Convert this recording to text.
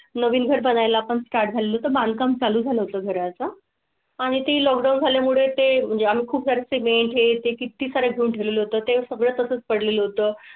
नवीन घर बघायला पण स्टार झालो तर बांधकाम चालू झालं घरा चा आणि ती लॉकडाऊन झाल्या मुळे ते म्हणजे आम्ही खूप वर ची वेळ येते. किती सा घेऊन ठेवले तर ते सगळं तसंच पड लेलं होतं.